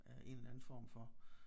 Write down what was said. Øh en eller anden form for